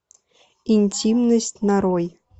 интимность нарой